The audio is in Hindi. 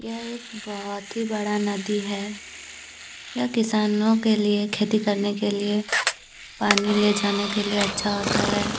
यह एक बहुत ही बड़ा नदी है यह किसानों के लिए खेती करने के लिए पानी ले जाने के लिए अच्छा होता है।